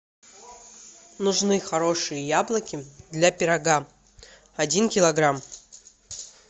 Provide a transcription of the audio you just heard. нужны хорошие яблоки для пирога один килограмм